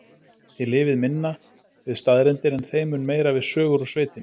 Þið lifið minna við staðreyndir en þeim mun meira við sögur úr sveitinni.